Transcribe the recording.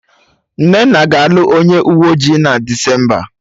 Nnenna ga-alụ onye uwe ọjị na Desemba